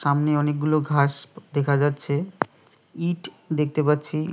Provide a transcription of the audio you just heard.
সামনে অনেকগুলো ঘাস দেখা যাচ্ছে ইট দেখতে পাচ্ছি।